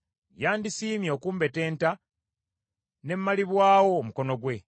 yandisiimye okumbetenta ne mmalibwawo omukono gwe.